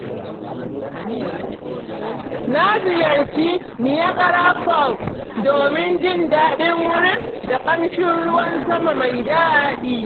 Na ziyarci Niagara Falls domin jin daɗin wurin da ƙamshin ruwan sama mai daɗi.